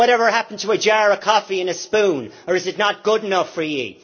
Whatever happened to a jar of coffee and a spoon, or is it not good enough for you?